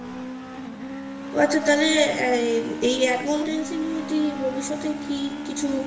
ওহ আচ্ছা তাহলে এই accountancy নিয়ে তু্ই ভবিষ্যতে কি কিছু